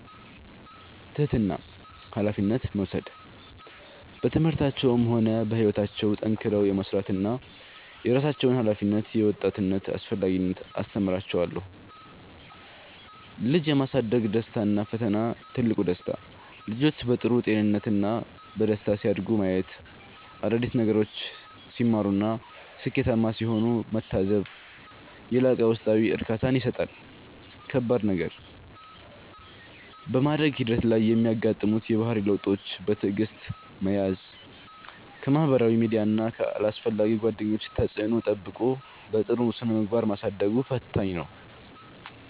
ትጋትና ኃላፊነት መውሰድ፦ በትምህርታቸውም ሆነ በሕይወታቸው ጠንክረው የመሥራትንና የራሳቸውን ኃላፊነት የመወጣትን አስፈላጊነት አስተምራቸዋለሁ። ልጅ የማሳደግ ደስታና ፈተና፦ ትልቁ ደስታ፦ ልጆች በጥሩ ጤንነትና በደስታ ሲያድጉ ማየት፣ አዳዲስ ነገሮችን ሲማሩና ስኬታማ ሲሆኑ መታዘብ የላቀ ውስጣዊ እርካታን ይሰጣል። ከባድ ነገር፦ በማደግ ሂደት ላይ የሚያጋጥሙትን የባህሪ ለውጦች በትዕግሥት መያዝ፣ ከማኅበራዊ ሚዲያና ከአላስፈላጊ ጓደኞች ተጽዕኖ ጠብቆ በጥሩ ስነ-ምግባር ማሳደጉ ፈታኝ ነው።